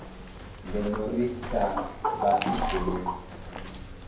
ngeno ri sa vha thethelesi